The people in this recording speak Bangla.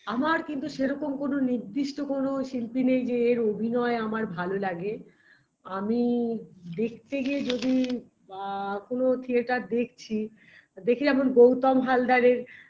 আমার কিন্তু সেরকম কোন নির্দিষ্ট কোনো শিল্পী নেই যে এর অভিনয় আমার ভালো লাগে আমি দেখতে গিয়ে যদি বা কোনো theatre দেখছি দেখে যেমন গৌতম হালদারের